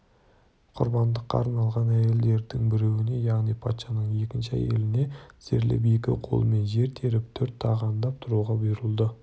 құрбандыққа арналған әйелдердің біреуіне яғни патшаның екінші әйеліне тізерлеп екі қолымен жер тіреп төрт тағандап тұруға бұйырылды